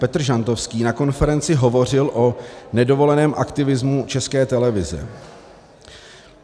Petr Žantovský na konferenci hovořil o nedovoleném aktivismu České televize.